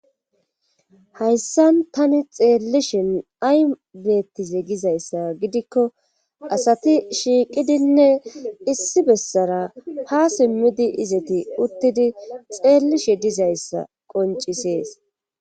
hayssan tani xeellishin ay bettize gizayssa gidikko asati shiiqidinne issi bessara ha simmidi izeti uttidi xeellishe dizayssa qoncisees